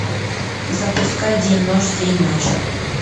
запускай день ночь день ночь